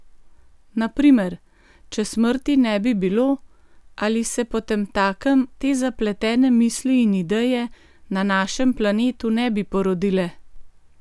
Na primer, če smrti ne bi bilo, ali se potemtakem te zapletene misli in ideje na našem planetu ne bi porodile?